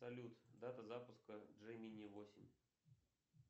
салют дата запуска джей мини восемь